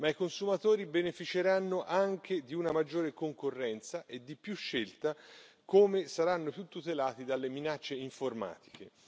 I consumatori beneficeranno anche di una maggiore concorrenza e di più scelta come saranno più tutelati dalle minacce informatiche.